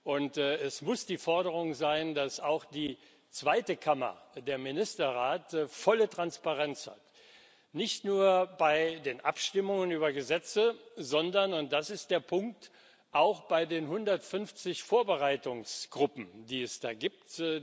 Und es muss gefordert werden, dass auch die zweite Kammer, der Ministerrat, volle Transparenz hat, nicht nur bei den Abstimmungen über Gesetze, sondern und das ist der Punkt auch bei den 150 Vorbereitungsgruppen, die es da gibt.